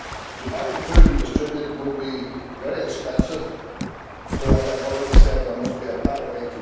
To buy the food and distribute it will be very expensive so, as I have said, there must be a better way.